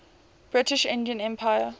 british indian empire